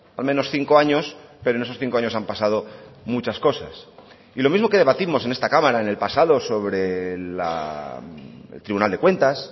al menos cinco años pero en esos cinco años han pasado muchas cosas y lo mismo que debatimos en esta cámara en el pasado sobre el tribunal de cuentas